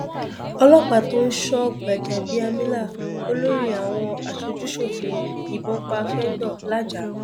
ọlọpàá tó ń sọ gbàjàbíàmílà olórí àwọn aṣojúṣòfin yìnbọn pa fẹńdó làájá